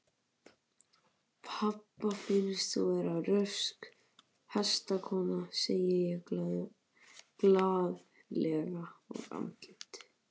Pabba finnst þú vera rösk hestakona, segi ég glaðlega og andlit